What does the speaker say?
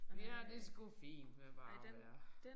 Vi har det sgu fint med bare at være